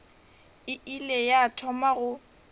e ile ya thoma go